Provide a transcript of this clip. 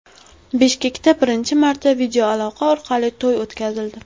Bishkekda birinchi marta videoaloqa orqali to‘y o‘tkazildi .